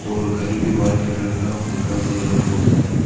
और घर भी वाइट कलर का दिखाई दे रहा है बहुत ज्यादा।